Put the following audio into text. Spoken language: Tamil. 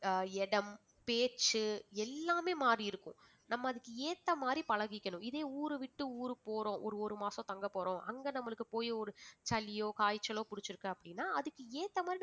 இடம் பேச்சு எல்லாமே மாறியிருக்கும் நம்ம அதுக்கு ஏத்த மாதிரி பழகிக்கணும் இதே ஊரு விட்டு ஊரு போறோம் ஒரு ஒரு மாசம் தங்க போறோம் அங்க நம்மளுக்கு போய் ஒரு சளியோ காய்ச்சலோ புடிச்சிருக்கு அப்படின்னா அதுக்கு ஏத்த மாதிரி